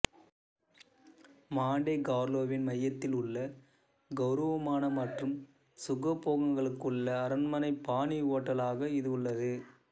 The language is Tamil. மான்டே கார்லோவின் மையத்தில் உள்ள கெளரவமான மற்றும் சுகபோகங்களுள்ள அரண்மனை பாணி ஹோட்டலாக இது உள்ளது